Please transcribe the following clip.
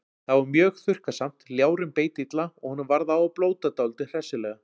Þá var mjög þurrkasamt, ljárinn beit illa og honum varð á að blóta dálítið hressilega.